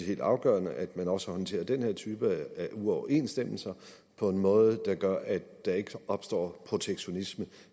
helt afgørende at man også håndterer den her type af uoverensstemmelser på en måde der gør at der ikke opstår protektionisme